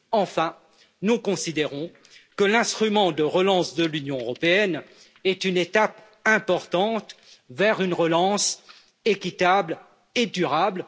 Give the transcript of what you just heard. Enfin, nous considérons que l'instrument de relance de l'Union européenne est une étape importante vers une relance équitable et durable.